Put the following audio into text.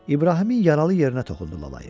İbrahimin yaralı yerinə toxundu Lalayev.